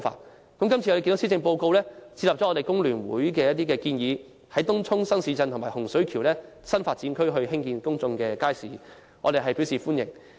我們看到今次的施政報告接納了工聯會的一些建議，在東涌新市鎮和洪水橋這些新發展區興建公眾街市，我們表示歡迎。